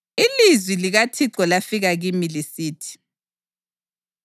Ilizwi likaThixo lafika kimi lisithi: